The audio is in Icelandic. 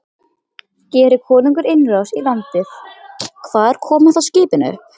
Geri konungur innrás í landið, hvar koma þá skipin upp?